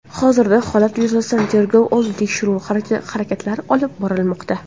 Hozirda holat yuzasidan tergov oldi tekshiruv harakatlari olib borilmoqda.